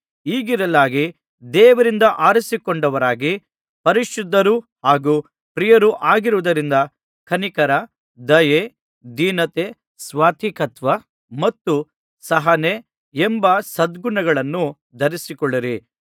ಹೀಗಿರಲಾಗಿ ದೇವರಿಂದ ಆರಿಸಿಕೊಂಡವರಾಗಿ ಪರಿಶುದ್ಧರೂ ಹಾಗೂ ಪ್ರಿಯರೂ ಆಗಿರುವುದರಿಂದ ಕನಿಕರ ದಯೆ ದೀನತೆ ಸಾತ್ವಿಕತ್ವ ಮತ್ತು ಸಹನೆ ಎಂಬ ಸದ್ಗುಣಗಳನ್ನು ಧರಿಸಿಕೊಳ್ಳಿರಿ